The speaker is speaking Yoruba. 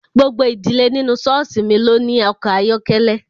Gbogbo ìdílé nínú ṣọ́ọ̀ṣì mi ló ní ọkọ̀ ayọ́kẹ́lẹ́